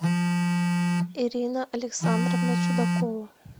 ирина александровна чудакова